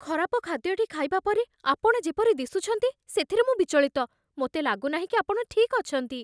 ଖରାପ ଖାଦ୍ୟଟି ଖାଇବା ପରେ ଆପଣ ଯେପରି ଦିଶୁଛନ୍ତି, ସେଥିରେ ମୁଁ ବିଚଳିତ। ମୋତେ ଲାଗୁନାହିଁ କି ଆପଣ ଠିକ୍ ଅଛନ୍ତି।